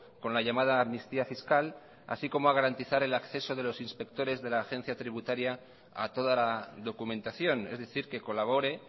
con la llamada amnistía fiscal así como a garantizar el acceso de los inspectores de la agencia tributaria a toda la documentación es decir que colabore